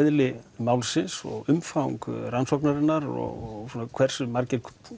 eðli málsins og umfang rannsóknarinnar og hversu margir